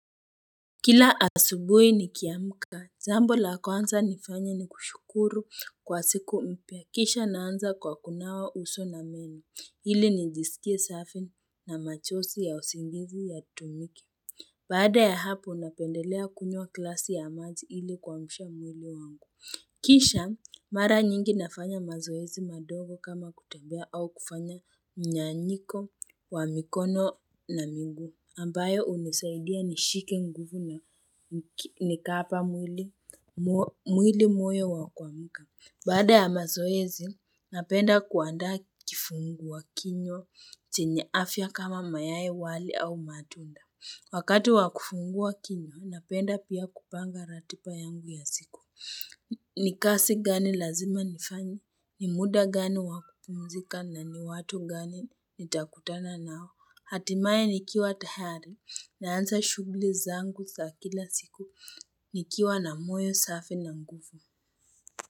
Kila asubui nikiamka, jambo la kwanza nifanya ni kushukuru kwa siku mpya, kisha naanza kwa kunawa uso na meni, ili nijisikie safi na machozi ya usingizi yatoweke. Baada ya hapo, napendelea kunywa klasi ya maji ili kwamsha mwili wangu. Kisha, mara nyingi nafanya mazoezi madogo kama kutembea au kufanya mnyanyiko wa mikono na miguu. Ambayo unisaidia nishike nguvu na nikapa mwili moyo wa kwamuka. Baada ya mazoezi, napenda kuandaa kifungua kinywa chenye afya kama mayai, wali au matunda. Wakati wa kufungua kinywa, napenda pia kupanga ratipa yangu ya siku. Ni kasi gani lazima nifanye, ni muda gani wa kupumzika na ni watu gani nitakutana nao. Hatimaye nikiwa tayari, naanza shugli zangu za kila siku, nikiwa na moyo safi na nguvu.